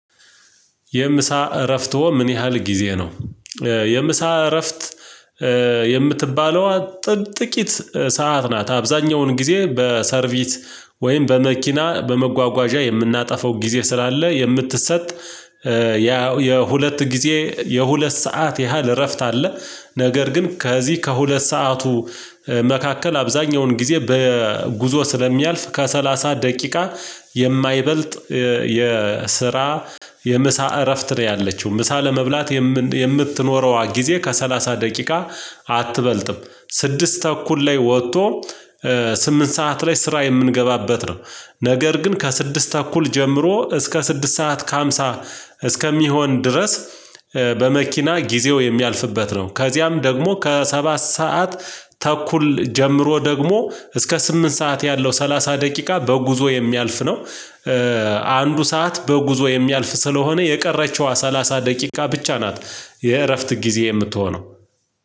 የምሳ እረፍቶ ምን ያህል ጊዜ ነው? የምሳ እረፍት የምትባለዋ ጥቂት ሰዓት ናት አብዛኛውን ጊዜ በሰርቪስ ወይም በመኪና በመጓጓዣ የምናጠፋው ጊዜ ስላለ የምትሰጥ ያው የሁለት ጊዜ የሁለት ሰዓት ያህል እረፍት አለ። ነገር ግን ከዚህ ከሁለት ሰዓቱ መካከል አብዛኛውን ጊዜ በጉዞ ስለሚያልፍ ከሰላሳ ደቂቃ የማይበልጥ የስራ የምሳ እረፍት ነው ያለችው ምሳ ለመብላት የምትኖረዋ ጊዜ ከሰላሳ ደቂቃ አትበልጥም። ስድስት ታኩል ላይ ወጥቶ ስምንት ሰዓት ላይ ስራ የምንገባበት ነው። ነገር ግን ከስድስት ታኩል ጀምሮ እስከ ስድስት ሰዓት ከሃምሳ እስከሚሆን ድረስ በመኪና ጊዜው የሚያልፍበት ነው። ከዚያም ደግሞ ከሰባት ሰዓት ተኩል ጀምሮ ደግሞ እስከ ስምንት ሰዓት ያለው ሰላሳ ደቂቃ በጉዞ የሚያልፍ ነው። አንዱ ሰዓት በጉዞ የሚያልፍ ስለሆነ የቀረችዋ ሰላሳ ደቂቃ ብቻ ናት። የእረፍት ጊዜ የምትሆነው